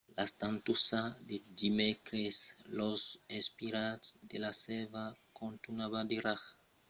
la tantossada de dimècres los espiralhs de la sèrva contunhavan de rajar probablament per encausa de l’expansion termala a l’interior de la sèrva